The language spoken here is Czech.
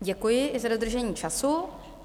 Děkuji, i za dodržení času.